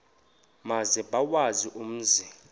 maze bawazi umzi